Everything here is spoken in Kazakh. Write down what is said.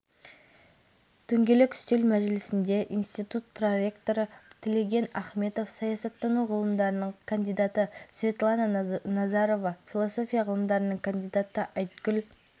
екенін айтты бұл президент өкілеттіктерінің үкімет пен парламентке бөлінуі азаматтық қоғамның да белсенділігін қажет етеді